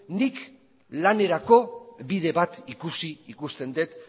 nik lanerako bide bat ikusi ikusten dut